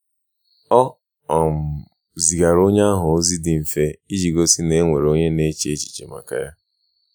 Ọ um zigara onye ahụ ozi dị mfe iji gosi na e nwere onye na-eche echiche maka ya